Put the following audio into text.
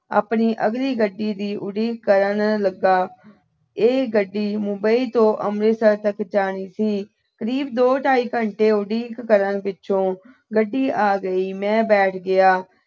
ਆਪਣੀ ਅਗਲੀ ਗੱਡੀ ਦੀ ਉਡੀਕ ਕਰਨ ਲੱਗਾ। ਇਹ ਗੱਡੀ ਮੁੰਬਈ ਤੋਂ ਅੰਮ੍ਰਿਤਸਰ ਤੱਕ ਜਾਣੀ ਸੀ। ਕਰੀਬ ਦੋ ਢਾਈ ਘੰਟੇ ਉਡੀਕ ਕਰਨ ਪਿੱਛੋਂ ਗੱਡੀ ਆ ਗਈ, ਮੈਂ ਬੈਠ ਗਿਆ।